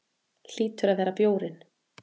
Hlýtur að vera bjórinn.